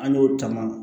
An y'o taama